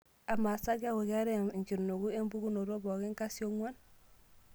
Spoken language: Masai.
amaasa keekukeetae enkinuku empukunotopooki kasionguan